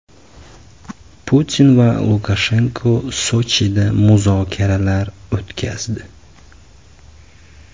Putin va Lukashenko Sochida muzokaralar o‘tkazdi.